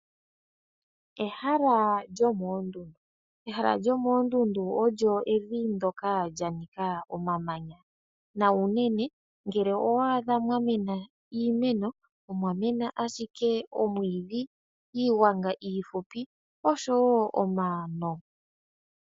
Ehala lyomoondundu Ehala lyomoondundu olyo evi ndoka lya nika omamanya, na unene ngele owa adha mwa mena iimeno, omwa mena ashike omwiidhi, iigwanga iifupi oshowo omano.